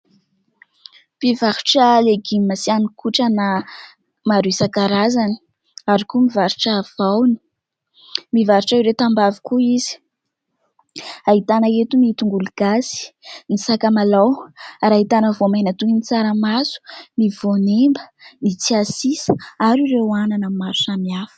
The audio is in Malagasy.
Mpivarotra legioma sy hanin-kotrana maro isan-karazany ary koa mivarotra voany. Mivarotra ireo tambavy koa izy ahitana eto ny tongolo gasy, ny sakamalaho ary ahitana voamaina toy ny tsaramaso, ny voanemba, ny tsiasisa ary ireo anana maro samihafa.